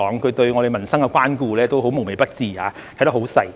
他對我們民生的關顧也很無微不至，看得很仔細。